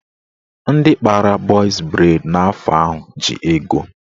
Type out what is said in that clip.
Ndị kpara bọz breid n'afọ ahụ ji ego.